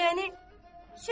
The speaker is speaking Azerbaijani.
Yəni, söz yox.